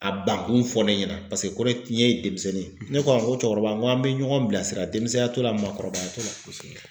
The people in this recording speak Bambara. A bankun fɔ ne ɲɛna paseke kɔrɔ ye tiɲɛ ye denmisɛnnin ye ne ko a ma ko cɛkɔrɔba n ko an bɛ ɲɔgɔn bilasira denmisɛnya t'o la maakɔrɔbaya t'o la kosɛbɛ.